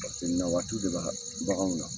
Paseke nawaati de bɛ baganw na.